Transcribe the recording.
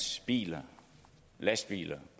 biler og lastbiler